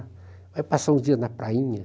Vai passar uns dias na prainha.